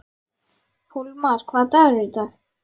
Hólmar, hvaða dagur er í dag?